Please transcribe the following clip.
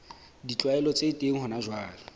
ditlwaelo tse teng hona jwale